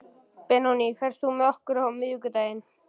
Benóný, ferð þú með okkur á miðvikudaginn?